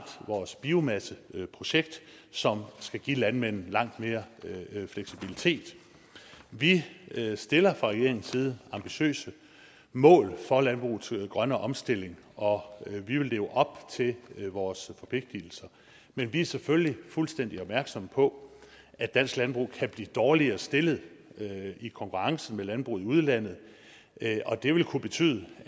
vores biomasseprojekt som skal give landmændene langt mere fleksibilitet vi stiller fra regeringens side ambitiøse mål for landbrugets grønne omstilling og vi vil leve op til vores forpligtelser men vi er selvfølgelig fuldstændig opmærksomme på at dansk landbrug kan blive dårligere stillet i konkurrencen med landbruget i udlandet og det vil kunne betyde